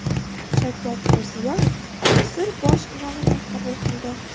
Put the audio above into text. Shavkat Mirziyoyev Misr bosh imomini qabul qildi.